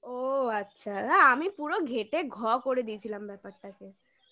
ও আচ্ছা আমি পুরো ঘেঁটে ঘ করে দিয়েছিলাম ব্যাপারটাকে